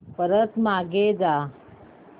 परत मागे जा